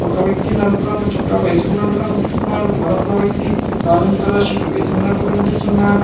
ఒక వ్యక్తి నలుపు రంగు చొక్క వేసుకున్నట్టు కనిపిస్తున్నారు మరొక వ్యక్తి ఆరంజ్ కలర్ షర్ట్ వేసుకున్నట్టు కనిపిస్తున్నాడు.